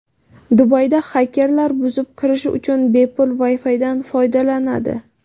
Dubayda xakerlar buzib kirish uchun bepul Wi-Fi’dan foydalanadi.